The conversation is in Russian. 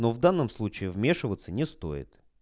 но в данном случае вмешиваться не стоит